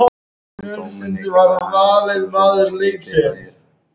Einhæfri fæðu móðurinnar er kennt um